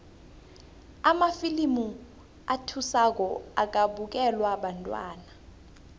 amafilimu athusako akabukelwa bantwana